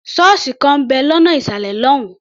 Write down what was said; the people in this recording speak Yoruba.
Ṣọ́ọ̀sì kan ń bẹ̀ lọ́nà ìsàlẹ̀ lọ́hùn-ún.